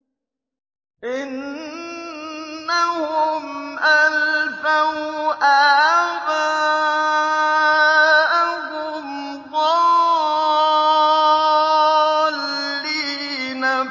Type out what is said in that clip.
إِنَّهُمْ أَلْفَوْا آبَاءَهُمْ ضَالِّينَ